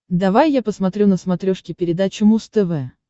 давай я посмотрю на смотрешке передачу муз тв